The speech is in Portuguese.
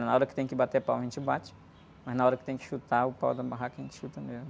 Na hora que tem que bater palma, a gente bate, mas na hora que tem que chutar o pau da barraca, a gente chuta mesmo.